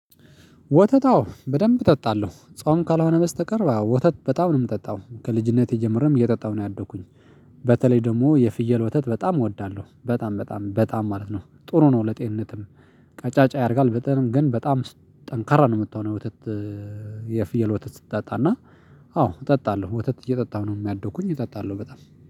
ወተት አዎ በደንብ እጠጣለሁ ጾም ካልሆነ በስተቀር ወተት በጣም ነው የምጠጣው ከልጅነቴ ጀምሮም እየጠጣሁ ነው ያደኩኝ። በተለይ ደግሞ የፍየል ወተት በጣም እወዳለሁ። በጣም በጣም በጣም ማለት ነው ጥሩ ነው። ለጤንነትም ቀጫጫ ያረጋል። በጣም ግን በጣም ጠንካራ ነው የምትሆነው። የፍየል ወተት ስትጠጣና። አዎ እጠጣለሁ ወተት እየጠጣሁ ነው ያደኩኝ እጠጣለሁ በጣም